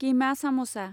कीमा सामसा